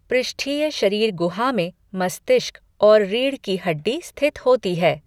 पृष्ठीय शरीर गुहा में मस्तिष्क और रीढ़ की हड्डी स्थित होती है।